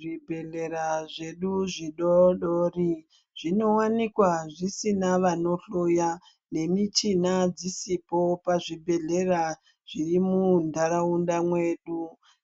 Zvibhehlera zvedu zvidoodori zvinowanikwa zvisina vanohloya nemichina dzisipo pazvibhehlera zviri muntaraunda mwedu.